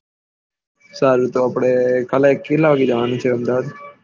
સારું તો આપળે કાલે કેટલા વાગે જવાનું છે અમદાવાદ